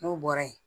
N'o bɔra ye